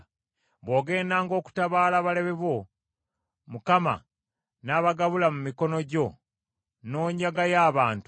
Bw’ogendanga okutabaala balabe bo, Mukama n’abagabula mu mikono gyo n’onyagayo abantu,